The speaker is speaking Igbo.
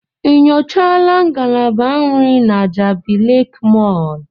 Ị nyochaala ngalaba nri na Jabi Lake Mall?